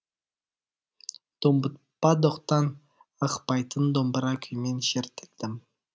домбытпа доқтан ықпайтын домбыра күймен шертілдім